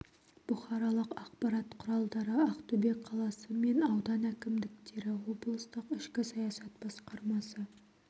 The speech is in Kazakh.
бұқаралық ақпарат құралдары ақтөбе қаласы мен аудан әкімдіктері облыстық ішкі саясат басқармасы